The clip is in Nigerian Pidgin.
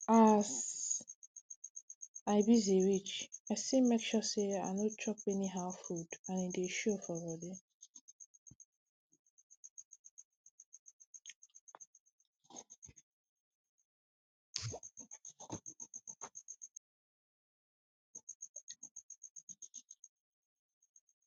as i busy reach i still make sure say i no chop anyhow food and e dey show for body